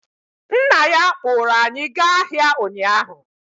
Nna ya kpụrụ anyị gaa ahịa ụnyaahụ.